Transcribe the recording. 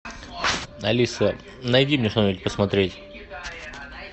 алиса найди мне что нибудь посмотреть